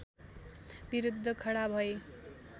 विरुद्ध खडा भए